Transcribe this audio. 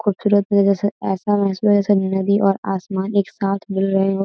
खूबसुरत में जैसे ऐसा महसूस में जैसे नदी और आसमान एक साथ मिल रहे हो।